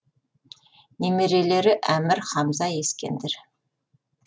немерелері әмір хамза ескендір